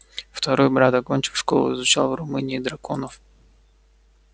второй брат окончив школу изучал в румынии драконов